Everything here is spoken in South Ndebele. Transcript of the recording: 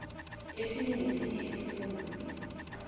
esinye nesinye isifunda